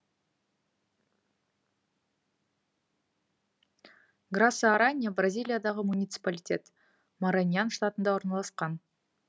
граса аранья бразилиядағы муниципалитет мараньян штатында орналасқан